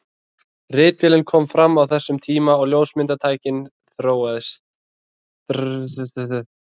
Ritvélin kom fram á þessum tíma og ljósmyndatæknin þróaðist.